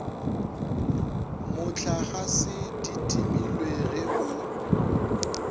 mohlagase di timilwe ge o